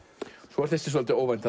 svo er þessi svolítið óvænt